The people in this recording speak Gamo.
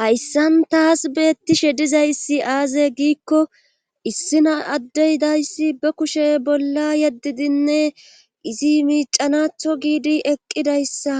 Hayssan taas beettishe dizayssi aaze giikko issina addey dayssi be kushe bolla yaddidinne izi miicanatho giidi eqqidayssa